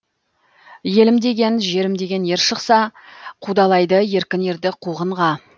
елім деген жерім деген ер шықса қудалайды еркін ерді қуғынға